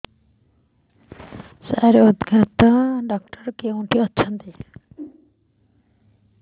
ସାର ହୃଦଘାତ ଡକ୍ଟର କେଉଁଠି ଅଛନ୍ତି